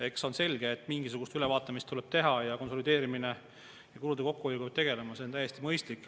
Eks see ole selge, et mingisugune ülevaatamine tuleb teha ja konsolideerimise ja kulude kokkuhoiuga peab tegelema, see on täiesti mõistlik.